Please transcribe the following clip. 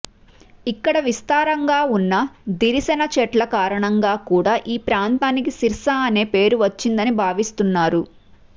ఇక్కడ విస్తారంగా ఉన్న దిరిశన చెట్ల కారణంగా కూడా ఈ ప్రాంతానికి సిర్సా అన్న పేరు వచ్చిందని భావిస్తున్నారు